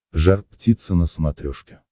жар птица на смотрешке